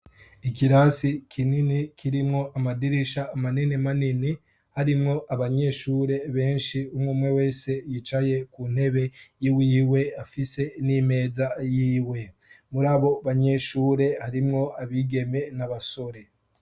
ikirasi kinini kirimwo amadirisha manini manini harimwo abanyeshure benshi umumwe wese yicaye ku ntebe y'iwiwe afise n'imeza yiwe muri abo banyeshure harimwo abigeme n'abasore